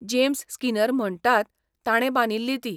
James Skinner म्हणटात ताणे बांदिल्ली ती.